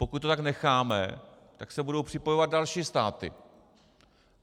Pokud to tak necháme, tak se budou připojovat další státy.